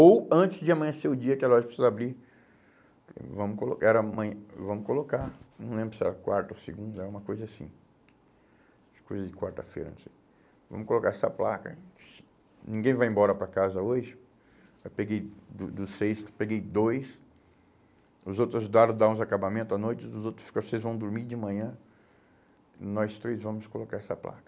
ou antes de amanhecer o dia que a loja precisa abrir, vamos colo era vamos colocar,, não lembro se era quarta ou segunda, era uma coisa assim, coisa de quarta-feira, não sei, vamos colocar essa placa, ninguém vai embora para casa hoje, eu peguei do dos seis, eu peguei dois, os outros ajudaram a dar uns acabamentos à noite, os os outros ficaram, vocês vão dormir de manhã, nós três vamos colocar essa placa.